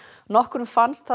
nokkrum fannst það